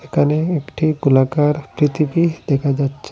এখানে একটা গোলাকার পৃথিবী দেখা যাচ্ছে।